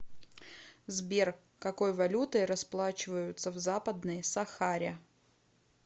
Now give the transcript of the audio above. сбер какой валютой расплачиваются в западной сахаре